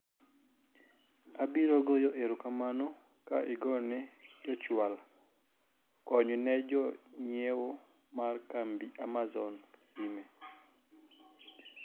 abiro goyo erokamano ka igone jochwal kony ne jonyiewo mar kambi amazon sime